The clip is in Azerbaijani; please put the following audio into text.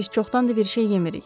Biz çoxdandır bir şey yemirik.